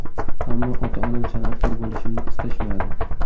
Ammo ota-onam san’atkor bo‘lishimni istashmadi.